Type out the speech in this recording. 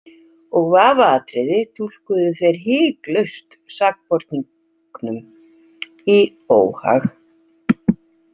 Og vafaatriði túlkuðu þeir hiklaust sakborningum í óhag.